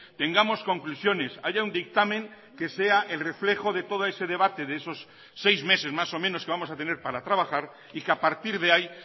tengamos conclusiones haya un dictamen que sea el reflejo de todo ese debate de esos seis meses más o menos que vamos a tener para trabajar y que a partir de ahí